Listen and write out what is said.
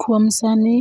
Kuom sani,